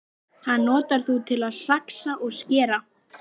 Hann notar þú til að saxa og skera.